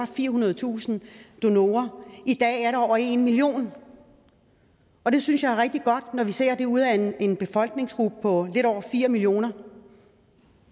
firehundredetusind donorer i dag er der over en million og det synes jeg er rigtig godt når vi ser på det ud af en befolkningsgruppe på lidt over fire millioner